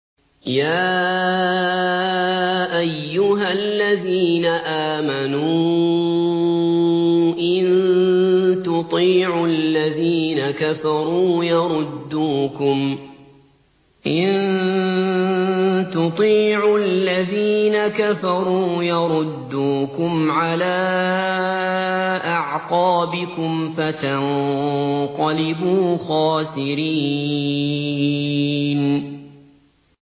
يَا أَيُّهَا الَّذِينَ آمَنُوا إِن تُطِيعُوا الَّذِينَ كَفَرُوا يَرُدُّوكُمْ عَلَىٰ أَعْقَابِكُمْ فَتَنقَلِبُوا خَاسِرِينَ